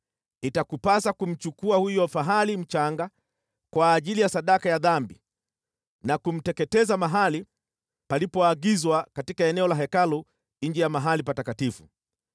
Itakupasa kumchukua huyo fahali mchanga kwa ajili ya sadaka ya dhambi na kumteketeza mahali palipoagizwa katika eneo la Hekalu nje ya mahali Patakatifu.